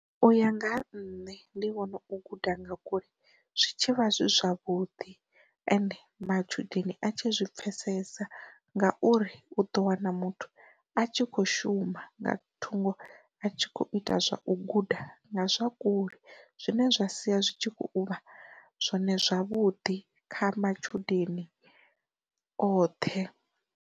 U ya nga ha nṋe ndi vhona u guda nga kule zwitshavha zwi zwavhuḓi ende matshudeni a tshi zwi pfesesa ngauri u ḓo wana muthu a tshi kho shuma nga thungo a tshi kho ita zwa u guda nga zwa kule, zwine zwa sia zwi tshi kho uvha zwone zwavhuḓi kha matshudeni oṱhe.